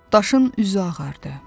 Daşın üzü ağardı.